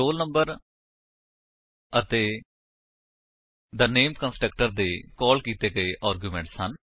the roll number ਅਤੇ the name constructor ਦੇ ਕਾਲ ਕੀਤੇ ਗਏ ਆਰਗਿਉਮੇਂਟਸ ਹਨ